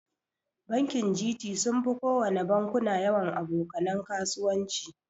Bankin Gt sunfi kowana bankuna yawan aboka nan kasuwanci.